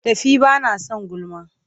Tafi ba na son gulma!